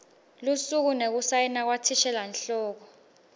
lusuku nekusayina kwathishelanhloko